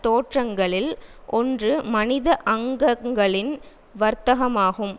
தோற்றங்களில் ஒன்று மனித அங்கங்களின் வர்த்தகமாகும்